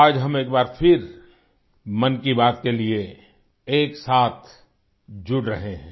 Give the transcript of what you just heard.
आज हम एक बार फिर मन की बात के लिए एक साथ जुड़ रहे हैं